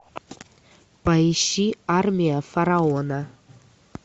поищи армия фараона